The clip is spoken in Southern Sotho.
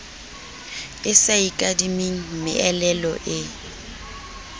e sa ikadimeng meelelo e